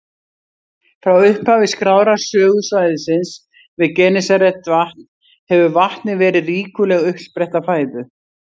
Frá upphafi skráðrar sögu svæðisins við Genesaretvatn hefur vatnið verið ríkuleg uppspretta fæðu.